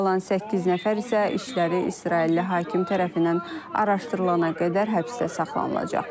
Qalan səkkiz nəfər isə işləri İsrailli hakim tərəfindən araşdırılana qədər həbsdə saxlanılacaq.